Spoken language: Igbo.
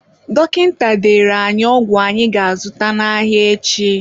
Dọkịta dere anyị ọgwụ anyị ga-azụta n'ahịa echi.